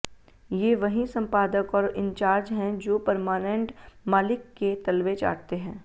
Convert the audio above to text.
ये वहीं संपादक और इंचार्ज हैं जो परमानेंट मालिक के तलवे चाटते हैं